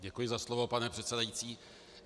Děkuji za slovo, pane předsedající.